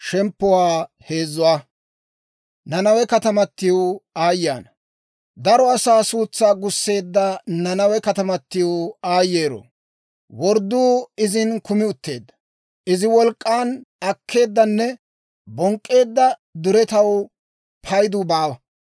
Daro asaa suutsaa gusseedda Nanawe katamatiw aayyeero! Wordduu izin kumi utteedda. Iza wolk'k'aan akkeeddanne bonk'k'eedda duretaw paydu baawa.